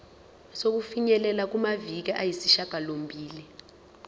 sokufinyelela kumaviki ayisishagalombili